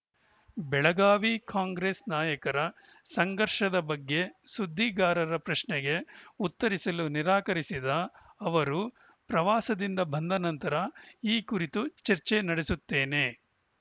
ಬೆಳಗಾವಿ ಕಾಂಗ್ರೆಸ್‌ ನಾಯಕರ ಸಂಘರ್ಷದ ಬಗ್ಗೆ ಸುದ್ದಿಗಾರರ ಪ್ರಶ್ನೆಗೆ ಉತ್ತರಿಸಲು ನಿರಾಕರಿಸಿದ ಅವರು ಪ್ರವಾಸದಿಂದ ಬಂದ ನಂತರ ಈ ಕುರಿತು ಚರ್ಚೆ ನಡೆಸುತ್ತೇನೆ